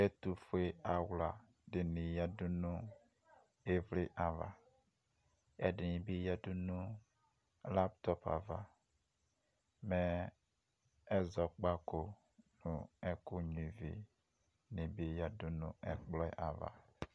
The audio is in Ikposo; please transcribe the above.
Ɛtofue awla de ne yadu no evletsɛ ava kɛ ɛdene be yadu laptop ava Mɛ ɛzɔkpako no ɛku nyua ivi ne be yadu no ɛkplɔp ava